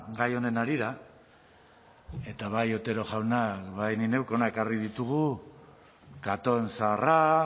gai honen harira eta bai otero jaunak ba ni neuk hona ekarri ditugu catón zaharra